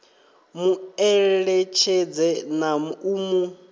mu eletshedze na u mu